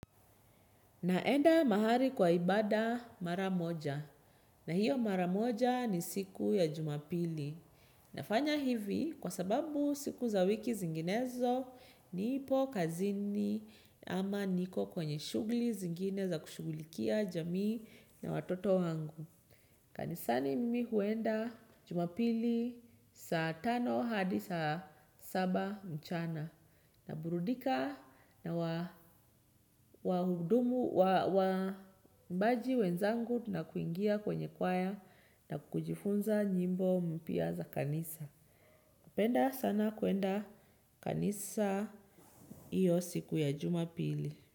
Naenda mahali kwa ibada mara moja. Na hiyo mara moja ni siku ya jumapili. Nafanya hivi kwa sababu siku za wiki zinginezo nipo kazini ama niko kwenye shugli zingine za kushugulikia jamii na watoto wangu. Kanisani mimi huenda jumapili saa tano hadi saa saba mchana naburudika na waimbaji wenzangu na kuingia kwenye kwaya na kujifunza nyimbo mpia za kanisa. Napenda sana kuenda kanisa iyo siku ya jumapili.